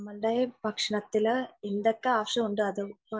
ഭക്ഷണത്തിൽ എന്തൊക്കെ ആവശ്യമുണ്ടോ അത്